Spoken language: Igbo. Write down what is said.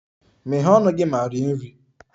Meghee ọnụ gị ma rie nri!